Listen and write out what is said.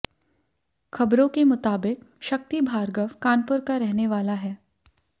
खबरों के मुताबिक शक्ति भार्गव कानपुर का रहने वाला है